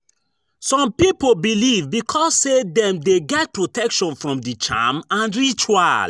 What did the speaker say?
Some pipo believe because say dem de get protection from di charm and ritual